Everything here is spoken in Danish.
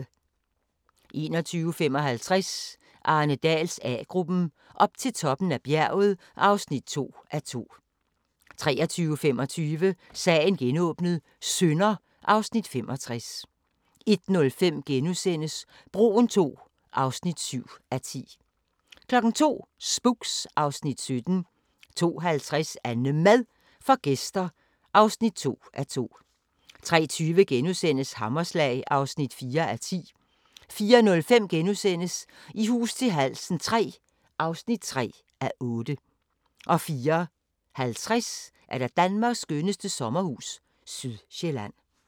21:55: Arne Dahls A-gruppen: Op til toppen af bjerget (2:2) 23:25: Sagen genåbnet: Synder (Afs. 65) 01:05: Broen II (7:10)* 02:00: Spooks (Afs. 17) 02:50: AnneMad får gæster (2:2) 03:20: Hammerslag (4:10)* 04:05: I hus til halsen III (3:8)* 04:50: Danmarks skønneste sommerhus – Sydsjælland